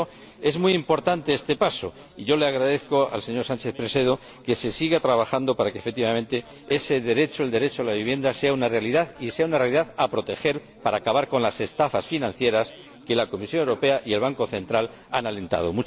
Por eso, es muy importante este paso, y yo le agradezco al señor Sánchez Presedo que se siga trabajando para que, efectivamente, ese derecho el derecho a la vivienda sea una realidad y sea una realidad que ha de protegerse para acabar con las estafas financieras que la Comisión Europea y el Banco Central han alentado.